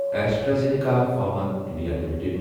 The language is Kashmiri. AstraZeneca Pharma India limited